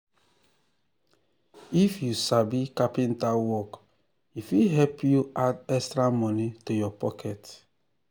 if you sabi carpenter work e fit help you add extra money to your pocket.